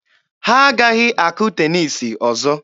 Ha agaghị akụ teniisi ọzọ.